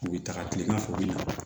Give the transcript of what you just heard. U bɛ taga kilegan fɛ u bi na